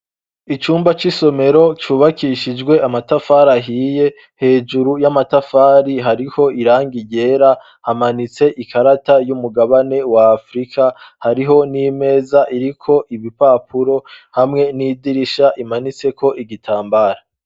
Icumba c'isomero cyubakishijwe amatafari ahiye hejuru y'amatafari hariho irangi ryera hamanitse ikarata y'umugabane wa afrika hariho n'imeza iriko ibipapuro hamwe n'idirisha imanitse ko igitambara.